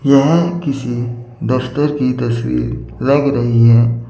यहां किसी दफ्तर की तस्वीर लग रही है।